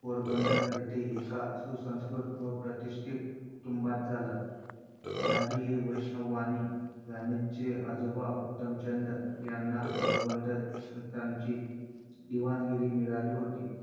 पोरबंदर येथे एका सुसंस्कृत व प्रतिष्ठित कुटुंबात झाला. गांधी हे वैष्णव वाणी. गांधींचे आजोबा उत्तमचंद यांना पोरबंदर संस्थानची दिवाणगिरी मिळाली होती.